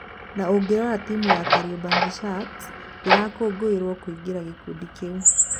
Na ũngĩrora timu ya Kariobangi Sharks ndĩrakungũĩrwo kũingira gĩkundi kĩu.